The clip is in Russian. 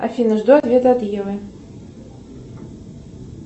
афина жду ответа от евы